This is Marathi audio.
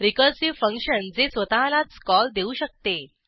रिकर्सिव्ह फंक्शन जे स्वतःलाच कॉल देऊ शकते